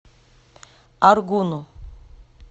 аргуну